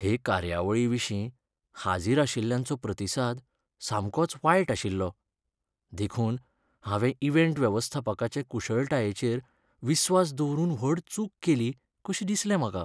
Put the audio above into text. हे कार्यावळीविशीं हाजीरआशिल्ल्यांचो प्रतिसाद सामकोच वायटआशिल्लो. देखून हांवें इव्हेंट वेवस्थापकाचे कुशळटायेचेर विस्वास दवरून व्हड चूक केली कशी दिसलें म्हाका .